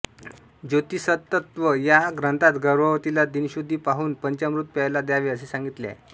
ज्योतीसतत्व या ग्रंथात गर्भवतीला दिनशुद्धी पाहून पंचामृत प्यायला द्यावे असे सांगितले आहे